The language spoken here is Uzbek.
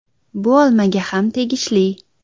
Bu olmaga ham tegishli.